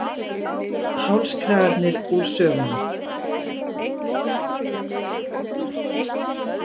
Hálskragarnir úr sögunni